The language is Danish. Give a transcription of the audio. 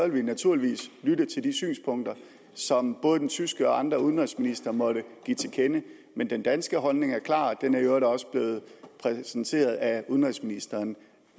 vi naturligvis lytte til de synspunkter som både den tyske udenrigsminister og andre udenrigsministre måtte give til kende men den danske holdning er klar og den er i øvrigt også blevet præsenteret af udenrigsministeren